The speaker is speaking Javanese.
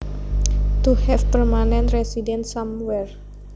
To have permanent residence somewhere